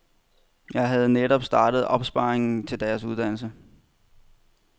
Jeg havde netop startet opsparingen til deres uddannelse.